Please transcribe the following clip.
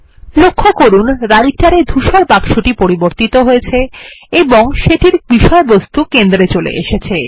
লক্ষ্য করুন Writer এ ধূসর বাক্সটি পরিবর্তিত হয়েছে এবং সেটির বিষয়বস্তু কেন্দ্রে চলে এসেছে